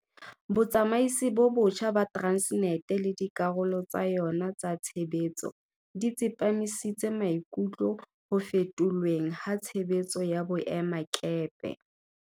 Botsamaisi bo botjha ba Transnet le dikarolo tsa yona tsa tshebetso di tsepamisitse maikutlo ho fetolweng ha tshebetso ya boemakepe.